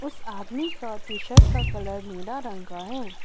इस आदमी का टी शर्ट का कलर नीला रंग का है।